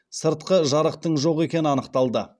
сыртқы жарықтың жоқ екені анықталды